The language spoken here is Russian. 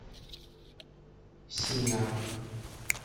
синяк